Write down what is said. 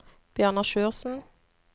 Bjørnar Sjursen